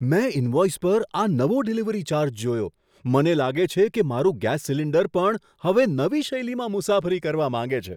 મેં ઈનવોઈસ પર આ નવો ડિલિવરી ચાર્જ જોયો. મને લાગે છે કે મારું ગેસ સિલિન્ડર પણ હવે નવી શૈલીમાં મુસાફરી કરવા માંગે છે!